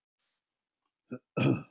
hvernig fjölga hvalir sér